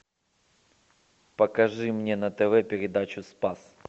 покажи мне на тв передачу спас